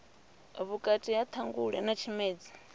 vhukati ha ṱhangule na tshimedzi